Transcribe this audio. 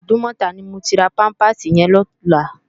Idúmòtá ni mó má ti rá pàmpásí yèn lòlá